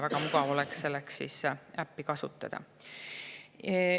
Väga mugav oleks selleks äppi kasutada.